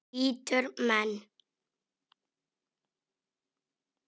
Bítur menn?